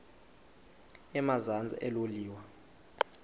emazantsi elo liwa